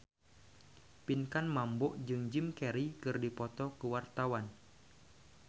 Pinkan Mambo jeung Jim Carey keur dipoto ku wartawan